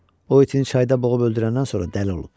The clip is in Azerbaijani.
O itini çayda boğub öldürəndən sonra dəli olub.